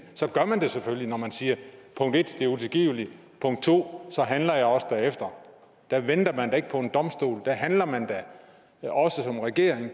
så gør man det selvfølgelig når man siger 1 at det er utilgiveligt og 2 så handler jeg også derefter der venter man da ikke på en domstol der handler man da også som regering